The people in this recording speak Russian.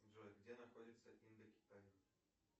джой где находится индокитай